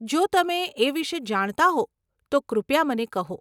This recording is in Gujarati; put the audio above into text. જો તમે એ વિષે જાણતા હો, તો કૃપયા મને કહો.